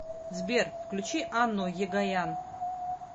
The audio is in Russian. сбер включи анну егоян